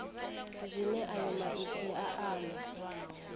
zwine ayo maipfi a amba